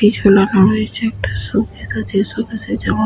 কি ঝোলানো হয়েছে একটা শোকেস আছে শোকেসে জামা --